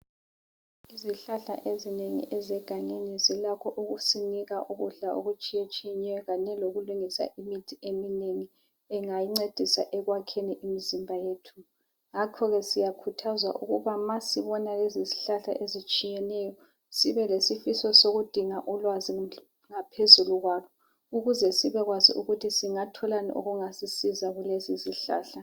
Izihlahla ezinengi ezegangeni, zilakho ukusinika ukudla, okutshiyatshiyeneyo. Kanye lokulungisa imithi eminengi, engancedisa ekwakheni imizimba yethu. Ngakho ke siyakhuthazwa, ukuthi ma sibona lezizihlahla ezitshiyeneyo. Sibe lesifiso sokudinga ulwazi ngaphezulu kwalo, ukuze sibekwazi ukuthi singatholani okungasisiza kulezizihlahla.